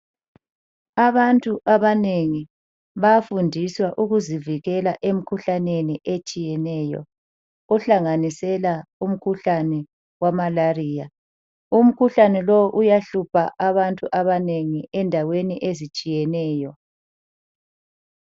Abantu abanengi bayafundiswa ukuzivikela emikhuhlaneni etshiyeneyo ohlanganisela umkhuhlane we Malaria. Umkhuhlane lo uyahlupha abantu abanengi endaweni ezitshiyeneyo.